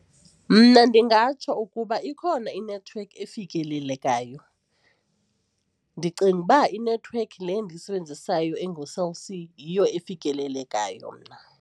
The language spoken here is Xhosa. Mna ndingatsho ukuba ikhona inethiwekhi efikelelekayo. Ndicinga uba inethiwekhi le endiyisebenzisayo enguCell C yiyo efikelelekayo mna.